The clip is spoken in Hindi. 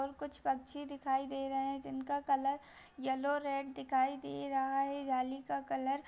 ओर कुछ पक्षी दिखाई दे रहें हैं जिनका कलर येलो रेड दिखाई दे रहा है जाली का कलर --।